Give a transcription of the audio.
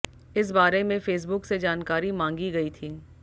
इस बारे में फेसबुक से जानकारी मांगी गई थी